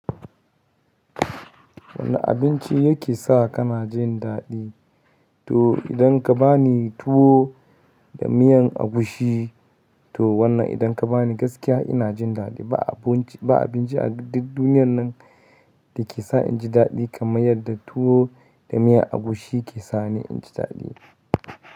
Wane abinci yake sa ka na jin daɗi? To idan ka ba ni tuwo da miyan agushi, to wannan idan ka bani gaskiya ina jin daɗi. Ba abinci, ba abinci a duk duniyan nan da ke sa inji daɗi kamar yadda tuwo da miyan agushi ke sani inji daɗi.